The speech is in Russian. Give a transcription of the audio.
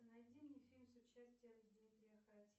найди мне фильм с участием дмитрия харатьяна